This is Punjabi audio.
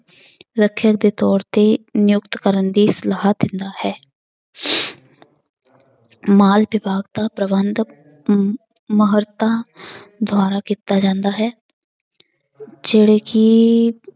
ਰੱਖਿਆ ਦੇ ਤੌਰ ਤੇ ਨਿਯੁਕਤ ਕਰਨ ਦੀ ਸਲਾਹ ਦਿੰਦਾ ਹੈ ਪ੍ਰਬੰਧ ਮਹਾਰਤਾਂ ਦੁਆਰਾ ਕੀਤਾ ਜਾਂਦਾ ਹੈ ਜਿਹੜੇ ਕਿ